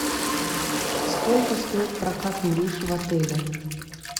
сколько стоит прокат лыж в отеле